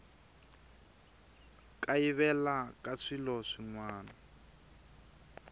kayivela ka swilo swin wana